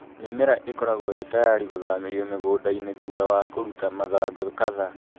Mĩmera ĩkoragũo ĩ tayarĩ gũthamĩrio mũgũnda-inĩ thutha wa kũruta mathangũ kathaa